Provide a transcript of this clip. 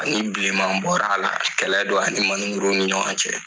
Ani bilenman bɔra a la, a tɛ kɛlɛ don ani man ni muru ni ɲɔgɔn cɛ.